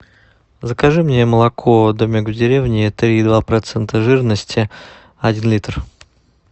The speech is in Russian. закажи мне молоко домик в деревне три и два процента жирности один литр